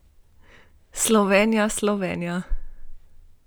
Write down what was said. Slovenija, Slovenija ...